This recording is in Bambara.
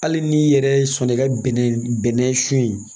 Hali n'i yɛrɛ sɔnn'i ka bɛnɛ bɛnɛ sun in